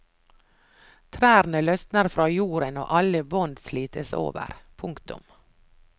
Trærne løsner fra jorden og alle bånd slites over. punktum